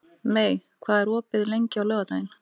Mey, hvað er opið lengi á laugardaginn?